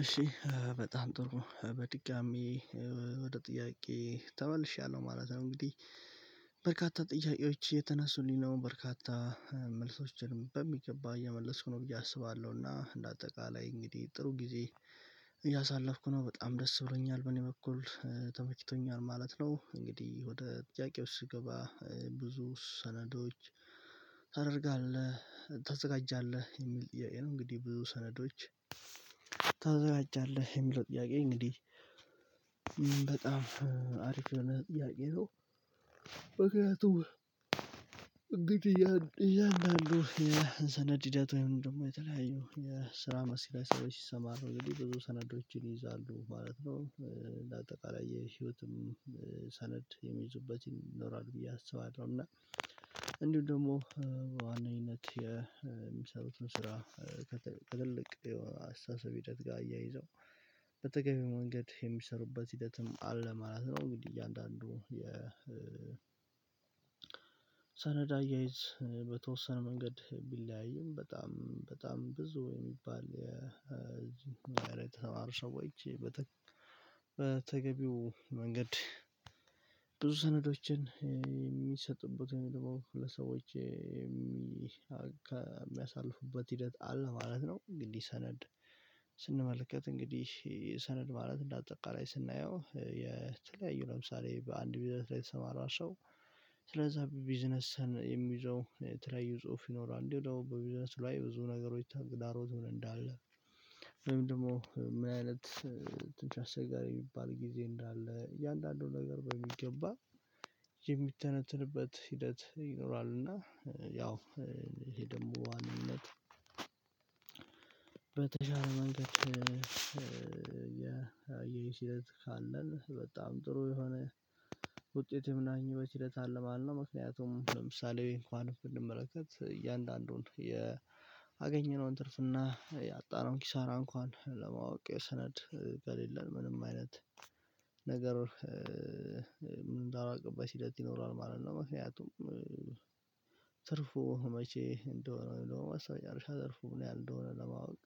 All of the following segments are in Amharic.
እሺ በጣም ጥሩ። በድጋሚ ወደ ጥያቄ ተመልሻለሁ ማለት ነው እንግዲህ በርካታ ጥያቄዎች እየተነሱልኝ ነው። በርካታ መልሶችን በሚገባ የመለስኩ ነው ብዬ አስባለሁ እና እንደ አጠቃላይ እንግዲህ ጥሩ ጊዜ እያሳለፍኩ ነው። በጣም ደስ ብሎኛል በኔ በኩል ተመችቶኛል ማለት ነው እንግዲህ ወደ ጥያቄዎች ስገባ ብዙ ሰነዶች ታደርጋለህ፣ ታዘጋጃለህ የሚል ጥያቄ ነው። እንግዲህ ብዙ ሰነዶች ተዘጋጃለህ የሚለው ጥያቄ እንግዲህ በጣም አሪፍ የሆነ ጥያቄ ነው ምክንያቱም እንግዲ እያንዳንዱ የሰነድ ሂደት ወይም ደግሞ የተለያየው የስራ መስራያ ሰዎች ሲሰማሩ ነው ግን ብዙ ሰነዶችን ይይዛሉ ማለት ነው። ለአጠቃላይ የህይወትም ሰነድ የሚይዙበት ይኖራል ብዬ አስባለሁ እና እንዲሁ ደግሞ በዋነኝነት የሚሰሩትን ስራ ከትልቅ የአስተሳሰብ ሂደት ጋር አያይዘው በተገቢው መንገድ የሚሰሩበት ሂደትም አለ ማለት ነው። እንግዲህ እያንዳንዱ የ ሰነድ አያይዝ በተወሰነ መንገድ ቢለያይም በጣም በጣም ብዙ የሚባል እኛ ጋር የተማሪ ሰዎች በተገቢው መንገድ ብዙ ሰነዶችን የሚሰጥበትን ለሰዎች ይህ ከሚያሳልፉበት ሂደት አለ ማለት ነው። እንግዲህ ሰነድ ስንመለከት፣ እንግዲህ ሰነድ ማለት እንዳጠቃላይ ስናየው የተለያዩ ለምሳሌ በአንድ ቢዝነስ ላይ የተሰማራ ሰው ስለዛ ቢዝነስ የሚይዘው የተለያይ ጽሁፍ ይኖራል። እንዲሁም ደግሞ በቢዝነስ ላይ ብዙ ነገሮች ታግዳሮት ሆነ እንዳለ ወይም ደግሞ ምን አይነት ትንሽ አስቸጋሪ የሚባል ጊዜ እንዳለ እያንዳንዱን ነገር በሚገባ የሚተነትንበት ሂደት ይኖራል እና ያው ይሄ ደግሞ በዋንነት በተሻለ መንገድ የሚለው ሲለት ካለን በጣም ጥሩ የሆነ ውጤት የምናገኝበት ሂደት ለማለት ነው። ምክንያቱም ለምሳሌ እንኳን ብንመለከት እያንዳንዱን ያገኘነውን አገኘነውን ትርፍና ያጣነው ኪሳራ እንኳን ለማወቅ የሰነድ ከሌለን ምንም አይነት ነገር ምንም ማላውቅበት ሂደት ይኖራል ማለት ነው። ምክንያቱም ተርፉ መቼ እንደሆነ ወይ ደግሞ በስተመጨረሻ ትርፉ ምን ያህል እንደሆነ ለማወቅ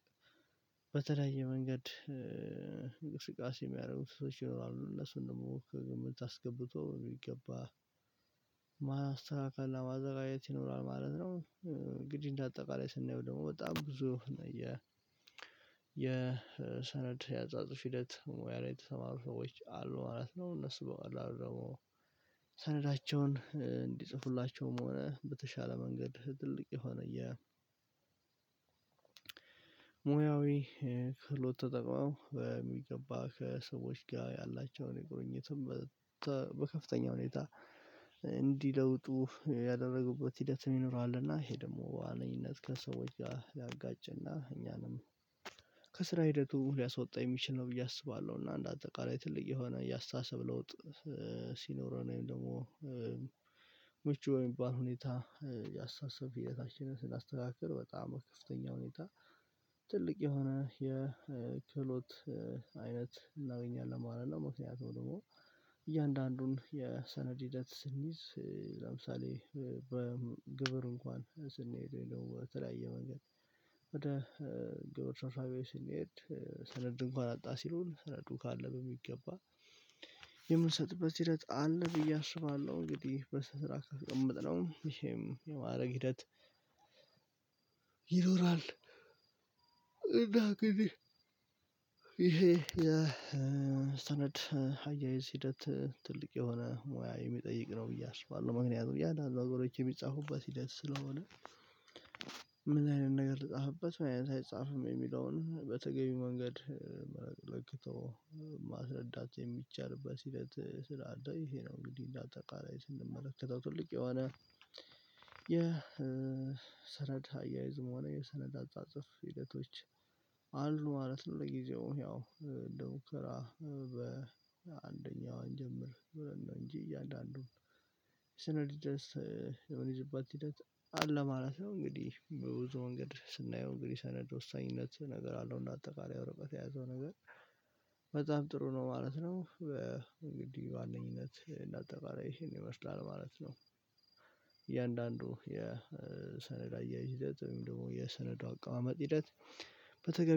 በተለያየ መንገድ እንቅስቃሴ የሚያደርጉት ሰዎች ይኖራሉ። እነሱ ደግሞ ከግምት አስገብቶ በሚገባ ማስተካከል ለማዘጋጀት ይኖራል ማለት ነው። እንግዲህ እንደ አጠቃላይ ስናየው ደግሞ በጣም ብዙ የ የሰነድ ያጻጽፍ ሂደት ሙያ ላይ የተሰማሩ ሰዎች አሉ ማለት ነው። እነሱ በቀላሉ ደግሞ ሰነዳቸውን እንዲጽፉላቸውም ሆነ በተሻለ መንገድ ትልቅ የሆነ የ ሙያዊ ክህሎት ተጠቅመው በሚገባ ከሰዎች ጋር ያላቸውን የቁርኝትም በከፍተኛ ሁኔታ እንዲለውጡ ያደረጉበት ሂደትም ይኖራል። እና ይሄ ደግሞ በዋነኝነት ከሰዎች ጋር ሊያጋጭና እኛንም ከስራ ሂደቱ ሊያስወጣ የሚችል ነው ብዬ አስባለሁ። እና አንደ አጠቃላይ ትልቅ የሆነ ያስተሳብ ለውጥ ሲኖረን ወይም ደግሞ ምቹ በሚባል ሁኔታ ያስተሳሰብ ሂደታችንን ስናስተካክል በጣም በከፍተኛ ሁኔታ ትልቅ የሆነ የክህሎት አይነት እናገኛለን ማለት ነው። ምክንያቱም ደግሞ እያንዳንዱን የሰነድ ሂደት ስንይዝ ለምሳሌ በግብር እንኳን ስንሄደው የለው በተለያየ መንገድ ወደ ግብር ሰራዊት ስንሄድ ሰነድ እንኳን አጣ ሲሉን ሰነዱ ካለ በሚገባ የምንሰጥበት ሂደት አለ ብዬ አስባለሁ። እንግዲህ በስራ አቀምጥለው ይሄም የማድረግ ሂደት ይኖራል። እና እንግዲህ ይሄ የሰነድ አያይዝ ሂደት ትልቅ የሆነ ሙያ የሚጠይቅ ነው ብዬ አስባለሁ። ምክንያቱም እያንዳንዱ አገሮች የሚጻፉበት ሂደት ስለሆነ ምን አይነት ነገር ልጻፍበት? ምናይነት አይጻፍም የሚለውን በተገቢ መንገድ ለክቶ ማስረዳት የሚቻልበት ሂደት ስላለ ይሄ ነው እንግዲህ እንደ አጠቃላይ ስንመለከተው ትልቅ የሆነ የሰነድ አያይዝም ሆነ የሰነድ አጻጻፍ ሂደቶች አሉ ማለት ነው። ለጊዜው ያው እንደ ሙከራ በአንደኛው እንጀምር ብለን ነው እንጂ እያንዳንዱን ሰነድ የምንይዝባት ሂደት አለ ማለት ነው። እንግዲህ በብዙ መንገድ ስናየው እንግዲህ ሰነድ ወሳኝነት ነገር አለው። እና አጠቃላይ ወረቀት የያዘው ነገር በዛም ጥሩ ነው ማለት ነው። በእንግዲህ ዋነኝነት እንደ አጠቃላይ ይመስላል ማለት ነው። እያንዳንዱ የሰነድ አያያዝ ሂደት ወይም ደግሞ የሰነዳ አቀማመጥ ሂደት በተገቢ